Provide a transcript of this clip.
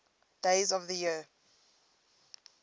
days of the year